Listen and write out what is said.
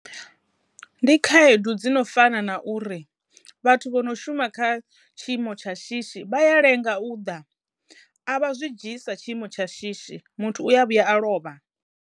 Ndi khaedu dzi no fana na uri vhathu vho no shuma kha tshiimo tsha shishi vha ya lenga u ḓa a vha zwi dzhii sa tshiimo tsha shishi muthu uya vhuya a lovha.